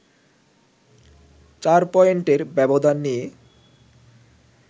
৪ পয়েন্টের ব্যবধান নিয়ে